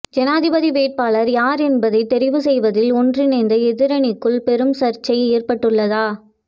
ஜனாதிபதி வேட்பாளர் யார் என்பதை தெரிவு செய்வதில் ஒன்றிணைந்த எதிரணிக்குள் பெரும் சர்ச்சை ஏற்பட்டுள்ளதா